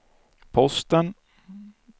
Posten